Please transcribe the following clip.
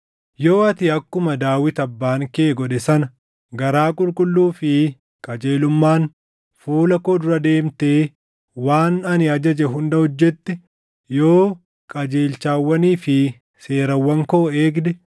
“Yoo ati akkuma Daawit abbaan kee godhe sana garaa qulqulluu fi qajeelummaan fuula koo dura deemtee waan ani ajaje hunda hojjette, yoo qajeelchawwanii fi seerawwan koo eegde,